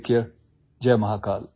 take care जय महाकाल